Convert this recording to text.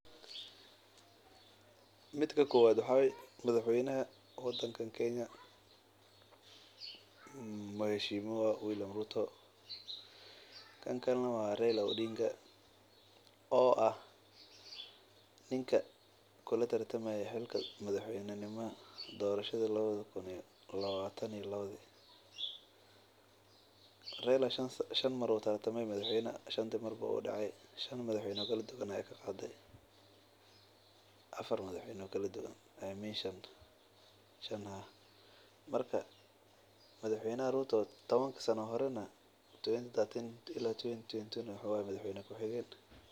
Midka ku waad madax waynaha waddan kan keenya. Mheshimiwa William Ruto? Kankale na wa Raila Odinga? O ah, ninka kula tirtamay xilkas. Madaxweyne nima? Doorashada 2022 Raila shan shan maruu tartamay madaxweynaha. Shanta marbo u dhacay. Shan madaxweyne kala duwana ay ka qaaday afar madaxweyne kala duwan ay meeshaan shan. Marka madaxweyne ruuto toban sanno. Hore na tuwan 2013. Tila 2021 madaxweyne ku xigeen.